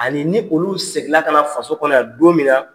Ani ni olu segin la ka na faso kɔnɔ yan don min na